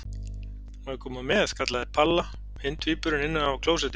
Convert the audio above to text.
Má ég koma með? kallaði Palla hinn tvíburinn innan af klósetti.